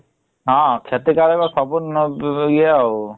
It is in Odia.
ହଁ କ୍ଷତିକାରକ ଇଏ ଆଉ